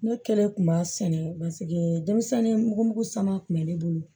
Ne kɛlen kun b'a sɛnɛ denmisɛnnin mugu sama kun bɛ ne bolo